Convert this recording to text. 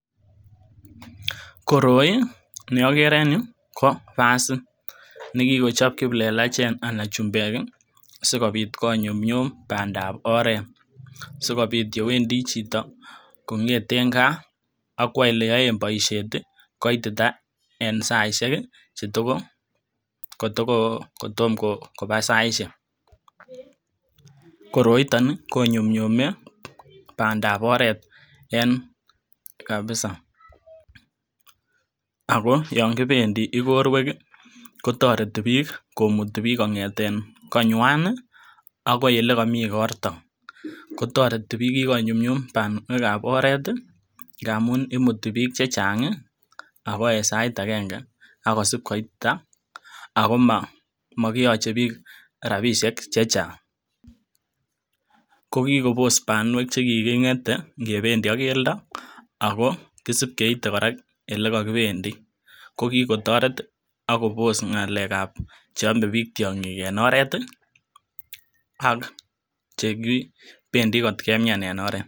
Koroi nii okere en yuu ko basit, nekikochop kiplelechek anan chumbek kii sikobit konyumyum pandap oret sikobit yewendii chito kongeten gaa ak kwo ole yoe boishet tii kitita en saishek kii kotoko kotoko kotomo koba saishek koroiton konyumyume pandap oret en kabisa, ako yon kipendii igorwek kii kotoreti bik komuti kongeten konywan nii akoi ole komii igorto. Kotoreti bik kikonyumyum panwek ab oret tii ngamun imuti bik chechangi ako en sait agenge ak kosib koitita ako mokiyoche bik rabishek chechang, ko kikobos panuek chekikigete igependi ak keldo ako kisip keite koraa ole kokopendii kokikotoret tii ak kopos ngalek ab cheome bik tyonkik en oret tii ak che kipendii kot kemian en oret.